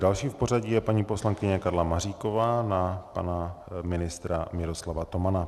Další v pořadí je paní poslankyně Karla Maříková na pana ministra Miroslava Tomana.